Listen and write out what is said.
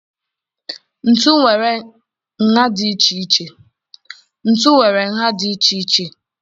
Ntu nwere nha dị iche iche.